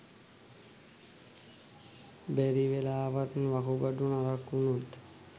බැරිවෙලාවත් වකුගඩු නරක් වුණොත්